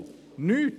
Nichts.